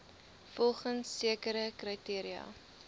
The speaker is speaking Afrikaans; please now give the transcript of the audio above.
volgens sekere kriteria